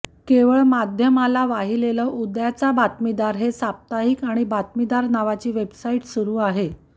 केवळ माध्यमाला वाहिलेलं उद्याचा बातमीदार हे साप्ताहिक आणि बातमीदार नावाची वेबसाईट सुरू आहे